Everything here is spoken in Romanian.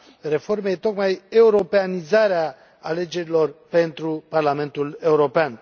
reformei este tocmai europenizarea alegerilor pentru Parlamentul European.